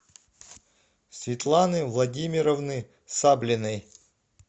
светланы владимировны саблиной